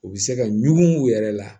U bɛ se ka ɲugu u yɛrɛ la